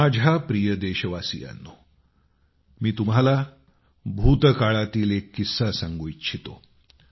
माझ्या प्रिय देशवासीयांनो मी तुम्हाला भूतकाळातील एक किस्सा सांगू इच्छितो